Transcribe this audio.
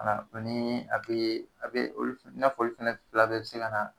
Ka na don ni hakili, i n'a fɔ olu fila bɛɛ be se ka na